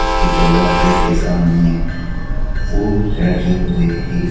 उसके दरवाजे के सामने फुल रखे हुए हैं।